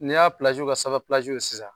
Ni y'a ka sanfɛ sisan.